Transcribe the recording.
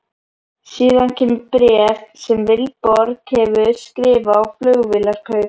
Síðan kemur bréf sem Vilborg hefur skrifað á Flugvélarkaup?